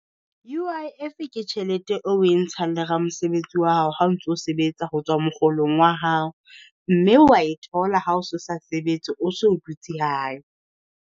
U_I_F ke tjhelete e oe ntshang le ramosebetsi wa hao ha o ntso sebetsa ho tswa mokgolong wa hao, mme wa e thola ha o se o sa sebetse o so o dutse hae.